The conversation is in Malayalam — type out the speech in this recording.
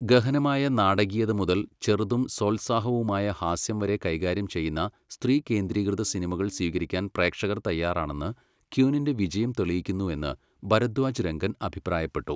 ഗഹനമായ നാടകീയത മുതൽ ചെറുതും സോത്സാഹവുമായ ഹാസ്യം വരെ കൈകാര്യം ചെയ്യുന്ന സ്ത്രീകേന്ദ്രീകൃതസിനിമകൾ സ്വീകരിക്കാൻ പ്രേക്ഷകർ തയ്യാറാണെന്ന് ക്വീനിൻ്റെ വിജയം തെളിയിക്കുന്നു എന്ന് ഭരദ്വാജ് രംഗൻ അഭിപ്രായപ്പെട്ടു.